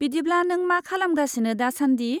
बिदिब्ला नों मा खालामगासिनो दासान्दि?